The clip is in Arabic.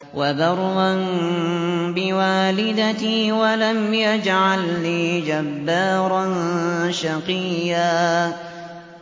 وَبَرًّا بِوَالِدَتِي وَلَمْ يَجْعَلْنِي جَبَّارًا شَقِيًّا